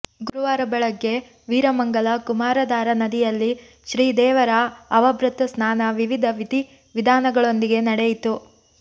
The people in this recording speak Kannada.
ಗುರುವಾರ ಬೆಳಗ್ಗೆ ವೀರಮಂಗಲ ಕುಮಾರಧಾರ ನದಿಯಲ್ಲಿ ಶ್ರೀ ದೇವರ ಅವಭೃತ ಸ್ನಾನ ವಿವಿಧ ವಿಧಿ ವಿಧಾನಗಳೊಂದಿಗೆ ನಡೆಯಿತು